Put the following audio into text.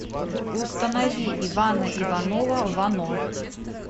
установи ивана иванова вано